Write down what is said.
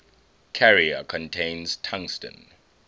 carrier contains tungsten